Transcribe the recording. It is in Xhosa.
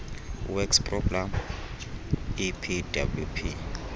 works programme epwp